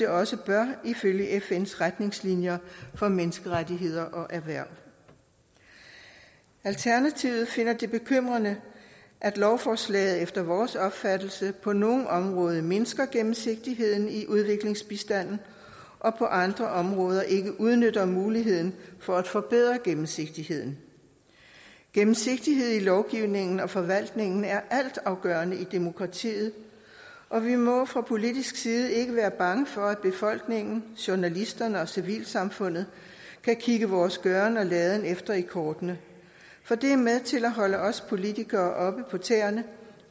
også bør ifølge fns retningslinjer for menneskerettigheder og erhverv alternativet finder det bekymrende at lovforslaget efter vores opfattelse på nogle områder mindsker gennemsigtigheden i udviklingsbistanden og på andre områder ikke udnytter muligheden for at forbedre gennemsigtigheden gennemsigtighed i lovgivningen og forvaltningen er altafgørende i demokratiet og vi må fra politisk side ikke være bange for at befolkningen journalisterne og civilsamfundet kan kigge vores gøren og laden efter i kortene for det er med til at holde os politikere oppe på tæerne